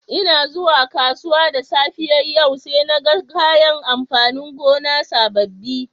N'na zuwa kasuwa da safiyar yau saina gan kayan amfanin gona sabobi.